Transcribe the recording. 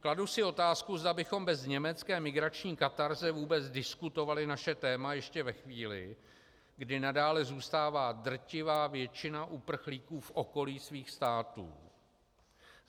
Kladu si otázku, zda bychom bez německé migrační katarze vůbec diskutovali naše téma ještě ve chvíli, kdy nadále zůstává drtivá většina uprchlíků v okolí svých států.